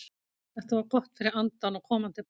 Þetta var gott fyrir andann og komandi baráttu.